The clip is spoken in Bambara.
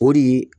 O de